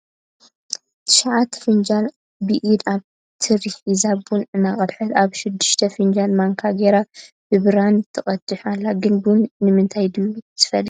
ትሽዓተ ፍንጃል ብኢዳ ኣብ ትሪ ሒዛ ቡን እናቀደሓት ኣብ ሽድስተ ፍንጃል ማንካ ገይራ ብብራድ ትቀድሕ ኣላ ። ግን ቡን ብምንታይ ድዩ ዝፈልሕ ?